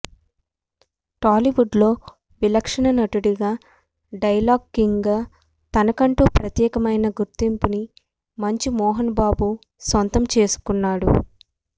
టాలీవుడ్ లో విలక్షణ నటుడుగా డైలాగ్ కింగ్ గా తనకంటూ ప్రత్యేకమైన గుర్తింపుని మంచు మోహన్ బాబు సొంతం చేసుకున్నాడు